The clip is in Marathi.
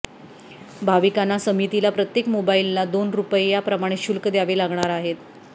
भाविकांना समितीला प्रत्येक मोबाईलला दोन रुपये याप्रमाणे शुल्क द्यावे लागणार आहेत